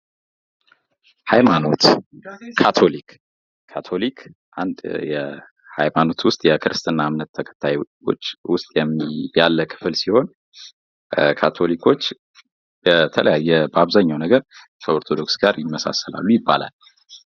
ሀይማኖት ካቶሊክ ካቶሊክ አንድ የሃይማኖት ውስጥ የክርስትና እምነት ተከታዩች ውስጥ ያለ ክፍል ሲሆን ካቶሊኮች በተለያየ በአብዛኛው ነገር ከኦርቶዶክስ ጋር ይመሳሰሉ ይባላል።